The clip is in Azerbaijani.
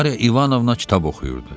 Mariya İvanovna kitab oxuyurdu.